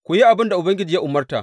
Ku yi abin da Ubangiji ya umarta.